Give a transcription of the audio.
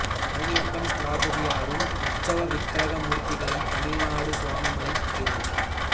பழனியப்பன் ஸ்தபதியாரும் உற்சவ விக்கிரக மூர்த்திகளைத் தமிழ்நாடு சுவாமி மலை திரு